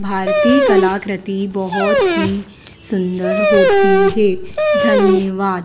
भारतीय कलाकृति बहोत ही सुंदर होती है धन्यवाद।